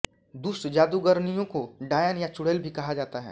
दुष्ट जादूगरनियों को डायन या चुड़ैल भी कहा जाता है